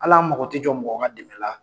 Al'an mago tɛ jɔ mɔgɔ dɛmɛ la.